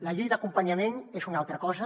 la llei d’acompanyament és una altra cosa